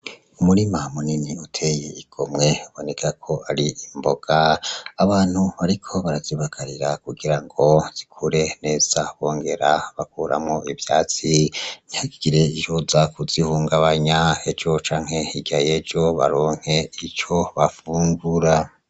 Umurima munini uteye igomwe biboneka ko ari imboga abantu bariko barazibagarira kugira ngo zikure neza bongera bakuramwo ivyatsi ntihagire icoza kuzi hungabanya ejo canke hirya yejo baronke ico bafungura.